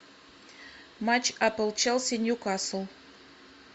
матч апл челси ньюкасл